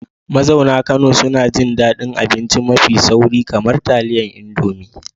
Mazauna Kano suna jin daɗin abinci mafi sauri, kamar taliyar indomie